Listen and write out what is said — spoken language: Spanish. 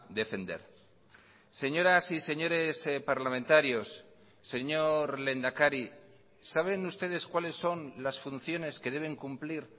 defender señoras y señores parlamentarios señor lehendakari saben ustedes cuáles son las funciones que deben cumplir